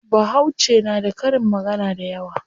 Bahauce na da karin magana dayawa.